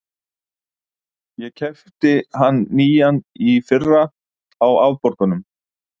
Ég keypti hann nýjan í fyrra, á afborgunum.